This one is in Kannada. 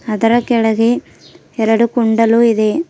ಅದರ ಕೆಳಗೆ ಎರಡು ಕುಂಡಲು ಇದೆ.